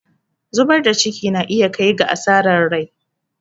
zubar da ciki na iya kai ga asarar rai